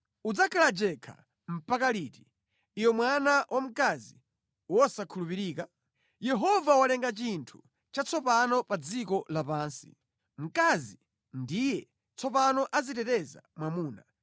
Udzakhala jenkha mpaka liti, iwe mwana wa mkazi wosakhulupirika? Yehova walenga chinthu chatsopano pa dziko lapansi; mkazi ndiye tsopano aziteteza mwamuna.”